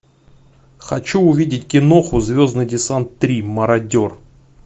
хочу увидеть киноху звездный десант три мародер